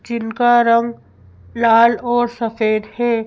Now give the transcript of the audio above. जिनका रंग लाल और सफेद है।